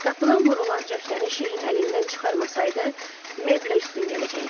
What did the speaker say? Qapılan vurulan cəftəni Şeyxin əlindən çıxarmasaydı, Mabelə üstün gələcəkdi.